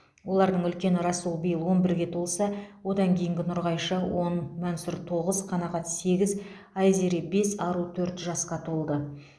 олардың үлкені расул биыл он бірге толса одан кейінгі нұрғайша он мансұр тоғыз қанағат сегіз айзере бес ару төрт жасқа толды